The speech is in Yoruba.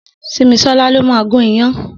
Simisola ló mà gùn iyán